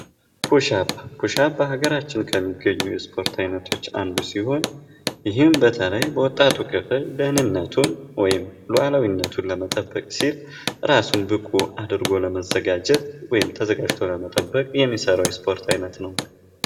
ፑሽአፕ ፑሽአፕ፦ በሀገራችን ከሚገኙ የስፖርት አንዱ ሲሆን ይህም በተለይ በወጣቱ ክፍል ደህንነቱን ሉአላዊነቱን ለመጠበቅ ሲል ራሱን ብቁ አድርጎ ለመዘጋጀት ወይም ተዘጋጅቶ ለመጠበቅ የሚሰራው የስፖርት አይነት ነው።